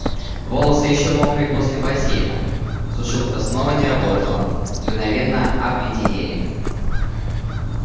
волосы ещё мокрые после бассейна сушилка снова не работала мгновенно обледенели